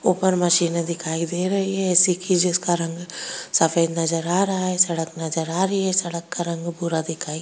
ऊपर मशीनें दिखाई दे रही हैं ए.सी. की जिसका रंग सफ़ेद नजर आ रहा है सड़क नजर आ रही है सडक का रंग भूरा दिखाई --